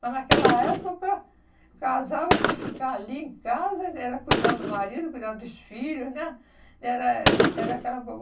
Mas, naquela época, casava, tinha que ficar ali em casa, era cuidar do marido, cuidar dos filhos, né? Era era aquela